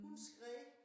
Hun skreg